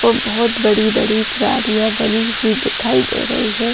और बहुत बड़ी-बड़ी क्यारियां बनी हुई दिखाई दे रही है।